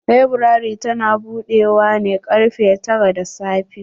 Laburare ta na budewa ne karfe tara da safe.